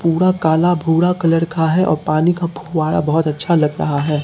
पूरा काला भूरा कलर का है और पानी का फुव्वारा बहोत अच्छा लग रहा है।